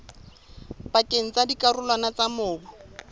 pakeng tsa dikarolwana tsa mobu